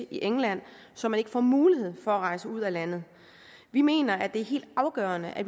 england så man ikke får mulighed for at rejse ud af landet vi mener det er helt afgørende at